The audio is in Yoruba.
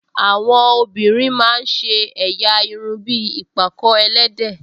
Àwọn obìnrin máa ń ṣe ẹ̀yà irun bí ìpàkọ́ ẹlẹ́dẹ̀